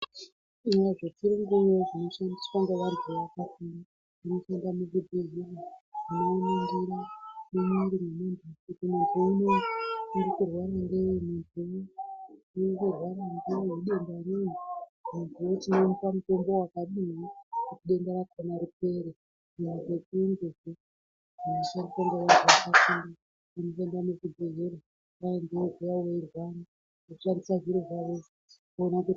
Zvechiyungu zvinoshandiswa ngevantu vanoshanda muchibhedhleya vanoongorora voona kuti muntu unowu uri kurwara ngei idenda rei vochimupa mutombo wakadini kuti denda rakona ripere vantu varikuuya veirwara vanoshanda muzvibhedhleya voshandisa zviro zvavozvo voona kuti